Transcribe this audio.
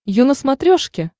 ю на смотрешке